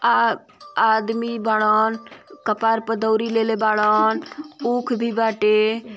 आ आदमी बारन कपार पर दउरी लेले बारन ऊख भी बाटे।